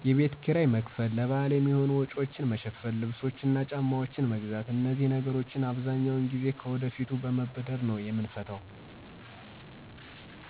የቤት ኪራይ መክፈል፣ ለበዓል የሚሆኑ ወጪዎችን መሸፈን፣ ልብሶችና ጫማዎችን መግዛት። አነዚህ ችግሮችን አብዛኛውን ጊዜ ከወደፊቱ በመበደር ነው የምንፈታው።